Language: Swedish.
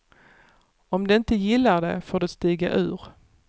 Om de inte gillar det, får de stiga ur.